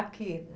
Aqui.